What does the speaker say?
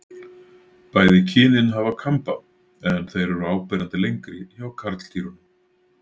Bæði kynin hafa kamba en þeir eru áberandi lengri hjá karldýrunum.